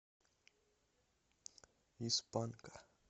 из панка